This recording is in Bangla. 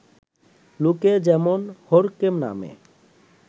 লোকে যেমন হড়কে নামে